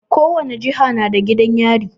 Ko wace jiha na da gidan yari.